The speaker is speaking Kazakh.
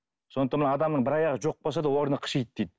сондықтан мына адамның бір аяғы жоқ болса да орны қышиды дейді